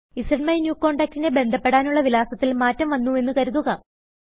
സ്മൈന്യൂകോണ്ടാക്ട് നെ ബന്ധപ്പെടാനുള്ള വിലാസത്തിൽ മാറ്റം വന്നുവെന്ന് കരുതുക